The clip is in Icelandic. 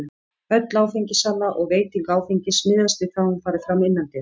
Öll áfengissala og veiting áfengis miðast við það að hún fari fram innandyra.